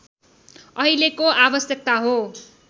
अहिलेको आवश्यकता हो